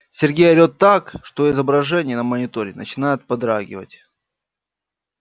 сергей орет так что изображение на мониторе начинает подрагивать